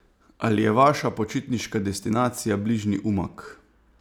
Ali je vaša počitniška destinacija bližnji Umag?